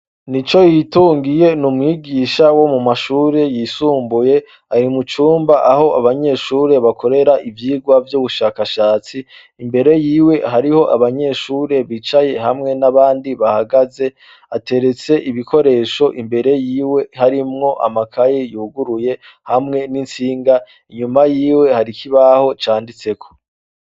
Ni co yitungiye ni umwigisha wo mu mashure yisumbuye ari mucumba aho abanyeshure bakorera ivyirwa vy'ubushakashatsi imbere yiwe hariho abanyeshure bicaye hamwe n'abandi bahagaze ateretse ibikoresho imbere yiwe harimwo amakayi yuguruye hamwe insinga inyuma yiwe harikoibaho canditseko.